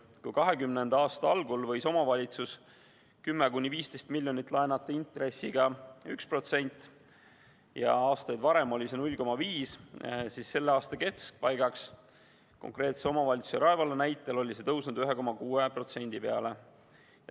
Kui 2020. aasta algul võis omavalitsus 10–15 miljonit laenata intressiga 1% ja aastaid varem oli see 0,5%, siis selle aasta keskpaigaks oli see konkreetse omavalitsuse, Rae valla näitel tõusnud 1,6% peale.